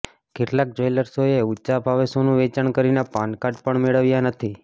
કેટલાક જવેલર્સોએ ઉંચા ભાવે સોનું વેચાણ કરીને પાનકાર્ડ પણ મેળવ્યા નથી